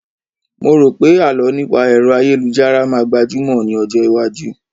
Mo rò pé àlọ́ nípa ẹ̀ro ayélujára máa gbajúmọ̀ ní ọjọ́ iwájú